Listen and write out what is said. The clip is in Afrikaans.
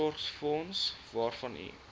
voorsorgsfonds waarvan u